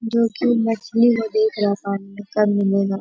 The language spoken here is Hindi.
क्युकी मछली को देख रहा था कब मिलेगा।